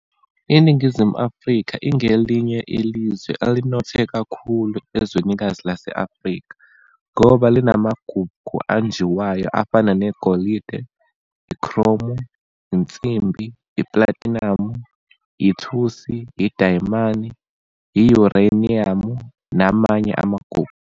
Iningizimu Afrika ingelinye ilizwe elinothe kakhulu ezwekazini lase-Afrika ngoba linamagugu anjiwayo afana ne-golide, ikhromu, insimbi, platinamu, ithusi, idayimani, i-yuraniyamu namanye amagugu.